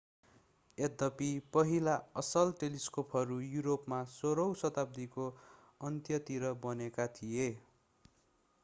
यद्यपि पहिला असल टेलिस्कोपहरू युरोपमा 16 औँ शताब्दीको अन्त्यतिर बनेका थिए